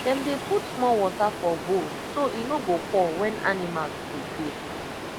dem dey put small water for bowl so e no go pour when animals dey play